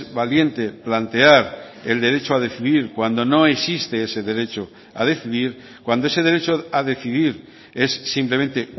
valiente plantear el derecho a decidir cuando no existe ese derecho a decidir cuando ese derecho a decidir es simplemente